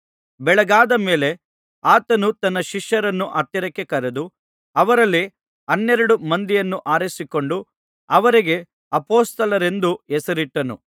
ಬೆಳಗಾದ ಮೇಲೆ ಆತನು ತನ್ನ ಶಿಷ್ಯರನ್ನು ಹತ್ತಿರಕ್ಕೆ ಕರೆದು ಅವರಲ್ಲಿ ಹನ್ನೆರಡು ಮಂದಿಯನ್ನು ಆರಿಸಿಕೊಂಡು ಅವರಿಗೆ ಅಪೊಸ್ತಲರೆಂದು ಹೆಸರಿಟ್ಟನು